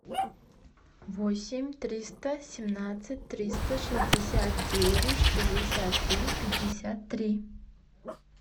восемь триста семнадцать триста шестьдесят девять шестьдесят три пятьдесят три